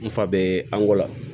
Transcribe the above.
N fa be ango la